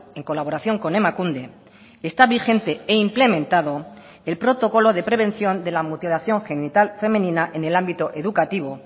en colaboración con emakunde está vigente e implementado el protocolo de prevención de la mutilación genital femenina en el ámbito educativo